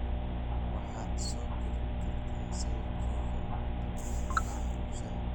waxaad soo galin kartaa sawirkeyga ugu dambeeyay baraha bulshada